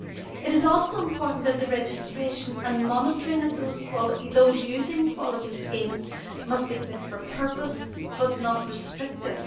It is important too that the registration and monitoring of those using quality schemes must be fit for purpose but not restrictive.